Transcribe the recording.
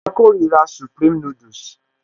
A kórira supreme noodles